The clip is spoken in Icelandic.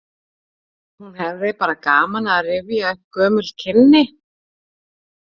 Hún hefði bara gaman af að rifja upp gömul kynni.